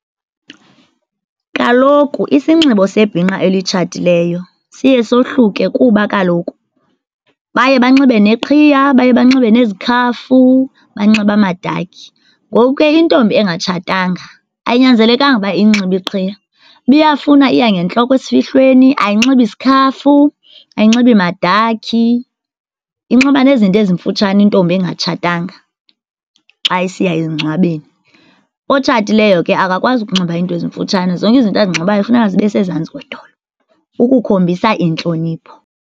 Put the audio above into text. Kaloku isinxibo sebhinqa elitshatileyo siye sohluke kuba kaloku baye banxibe neqhiya, baye banxibe nezikhafu, banxibe amadakhi. Ngoku ke intombi engatshatanga ayinyanzelekanga uba iyinxibe iqhiya, uba iyafuna iya ngentloko esifihlweni. Ayinxibi sikhafu, ayinxibi madakhi, inxiba nezinto ezimfutshane intombi engatshatanga xa isiya emngcwabeni. Otshatileyo ke akakwazi ukunxiba iinto ezimfutshane, zonke izinto azinxibayo kufuneka zibe sezantsi kwedolo ukukhombisa intlonipho.